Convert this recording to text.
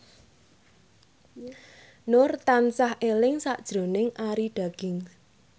Nur tansah eling sakjroning Arie Daginks